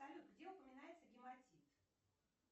салют где упоминается гематит